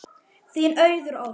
Þín Auður Ósk.